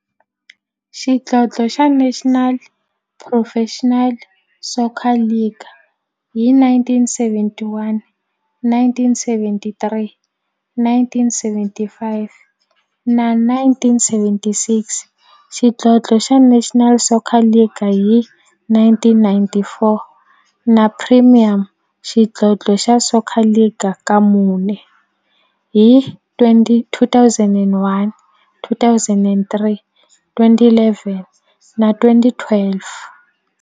xidlodlo xa National Professional Soccer League hi 1971, 1973, 1975 na 1976, xidlodlo xa National Soccer League hi 1994, na Premier Xidlodlo xa Soccer League ka mune, hi 2001, 2003, 2011 na 2012.